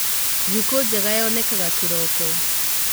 Thikũ njega yonekaga kĩroko.